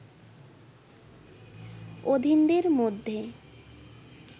অধীনদের মধ্যে